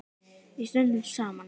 Við stöndum saman.